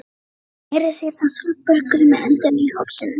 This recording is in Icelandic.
Sneri sér að Sólborgu með öndina í hálsinum.